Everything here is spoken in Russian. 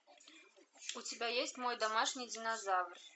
у тебя есть мой домашний динозавр